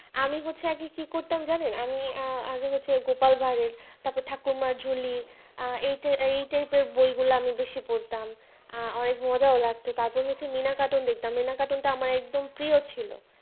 আমি হচ্ছে আগে কি করতাম জানেন আমি আহ আমি হচ্ছে গোপাল ভাঁড়ের তারপর ঠাকুমার ঝুলি এই এইটা এই type আর বইগুলো আমি বেশি পড়তাম আহ অনেক মজা লাগতো তারপর তারপর মিনা cartoon দেখতাম মিনা cartoon আমার অনেক প্রিয় ছিল